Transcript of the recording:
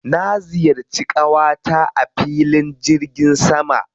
Na ziyarci ƙawata a filin jirgin sama.